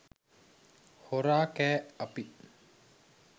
හොරා කෑ අපි